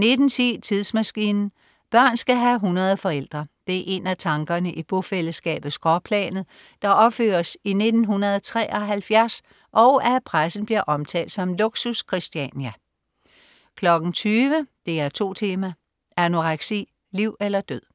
19.10 Tidsmaskinen. Børn skal have 100 forældre! Det er en af tankerne i bofællesskabet "Skråplanet", der opføres i 1973 og af pressen bliver omtalt som "Luxus Christiania" 20.00 DR2 Tema: Anoreksi, liv eller død